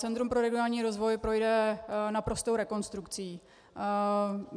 Centrum pro regionální rozvoj projde naprostou rekonstrukcí.